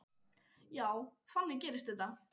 Já, þannig gerist þetta.